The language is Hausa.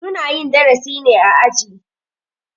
Su na yin darasi ne a aji.